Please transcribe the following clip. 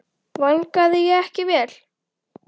Vangaði ég ekki vel?